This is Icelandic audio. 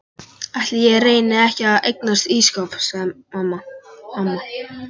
Ætli ég reyni ekki að eignast ísskáp sagði amma.